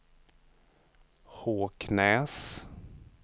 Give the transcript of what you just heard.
Håknäs